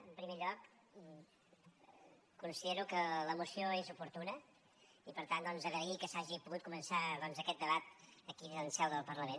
en primer lloc considero que la moció és oportuna i per tant doncs agrair que s’hagi pogut començar aquest debat aquí en seu del parlament